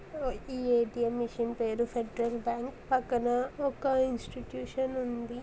ఈ A T M ఆ machine పేరు ఫెడెరల్ బ్యాంకు . పక్కన ఒక ఇన్స్టిట్యూషన్ ఉంది.